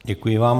Děkuji vám.